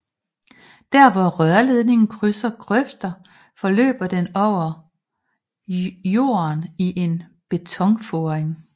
Der hvor rørledningen krydsede grøfter forløb den over lorden i en betonforing